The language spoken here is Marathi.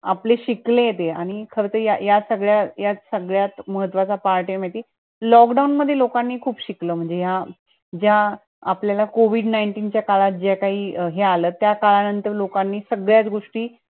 आपले शिकले ते आणि खरंतर या या सगळ्या या सगळ्यात महत्वाचा part ए म्हणजे. Lockdown मध्ये लोकांनी खूप शिकल म्हणजे या ज्या आपल्याला COVID च्या काळात ज्या काही हे आलत, त्या काळानंतर लोकांनी सगळ्या द्रुष्टी